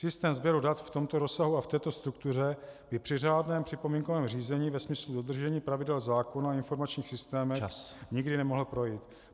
Systém sběru dat v tomto rozsahu a v této struktuře by při řádném připomínkovém řízení ve smyslu dodržení pravidel zákona o informačních systémech nikdy nemohl projít.